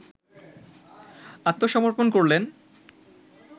আত্মসমর্পন করলেন